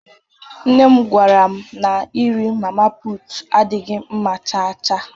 Nnem gwaram na nri mama puutu adịghị mma chaa chaa.